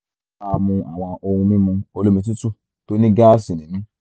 máṣe máa mu àwọn ohun mímu olómi tútù tó ní gáàsì nínú